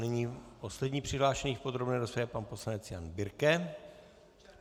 Nyní poslední přihlášený v podrobné rozpravě, pan poslanec Jan Birke.